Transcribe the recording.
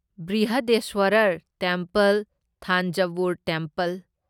Brihadeeswarar temple Thanjavur temple